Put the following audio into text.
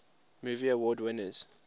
movie award winners